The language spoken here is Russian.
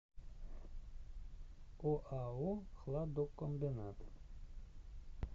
оао хладокомбинат